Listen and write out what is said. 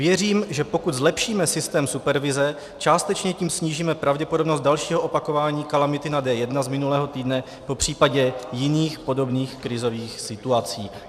Věřím, že pokud zlepšíme systém supervize, částečně tím snížíme pravděpodobnost dalšího opakování kalamity na D1 z minulého týdne, popřípadě jiných podobných krizových situací.